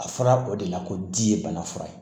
A fɔra o de la ko di ye bana fura ye